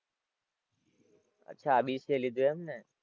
અચ્છા BCA લીધું એમ ને.